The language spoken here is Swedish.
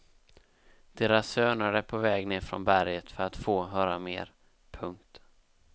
Deras söner är på väg ner från berget för att få höra mer. punkt